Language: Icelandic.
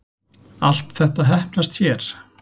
Allt þetta heppnast hér